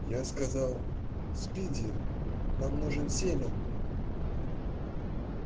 я сказал спиди нам нужен селен